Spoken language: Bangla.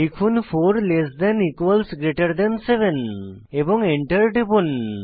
লিখুন 4 less than equals greater than 7 এবং এন্টার টিপুন